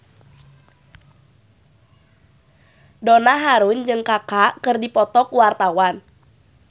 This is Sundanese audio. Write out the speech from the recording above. Donna Harun jeung Kaka keur dipoto ku wartawan